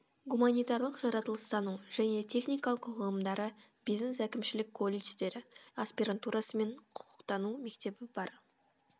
гуманитарлық жаратылыстану және техникалық ғылымдары бизнес әкімшілік колледждері аспирантурасы мен құқықтану мектебі бар